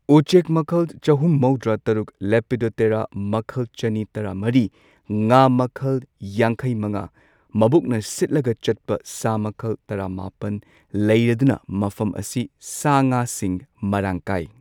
ꯎꯆꯦꯛ ꯃꯈꯜ ꯆꯍꯨꯝ ꯃꯧꯗ꯭ꯔꯥ ꯇꯔꯨꯛ, ꯂꯦꯄꯤꯗꯣꯞꯇꯦꯔꯥ ꯃꯈꯜ ꯆꯅꯤ ꯇꯔꯥꯃꯔꯤ, ꯉꯥ ꯃꯈꯜ ꯌꯥꯡꯈꯩ ꯃꯉꯥ, ꯃꯕꯨꯛꯅ ꯁꯤꯠꯂꯒ ꯆꯠꯄ ꯁꯥ ꯃꯈꯜ ꯇꯔꯥꯃꯥꯄꯟ ꯂꯩꯔꯗꯨꯅ ꯃꯐꯝ ꯑꯁꯤ ꯁꯥ ꯉꯥꯁꯤꯡ ꯃꯔꯥꯡ ꯀꯥꯢ꯫